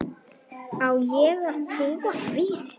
Á ég að trúa því?